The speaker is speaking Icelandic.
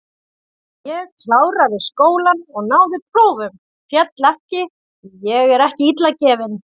Ég kláraði skólann og náði prófum, féll ekki, því ég er ekki illa gefinn.